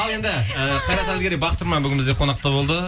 ал енді і қайрат әділгерей бақыт тұрман бүгін бізде қонақта болды